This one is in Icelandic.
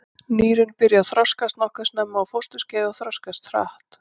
Nýrun byrja að þroskast nokkuð snemma á fósturskeiði og þroskast hratt.